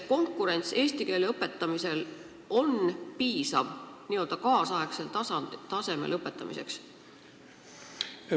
Kas eesti keele õpetamisel on piisav konkurents, et seda nüüdisaegsel tasemel õpetada?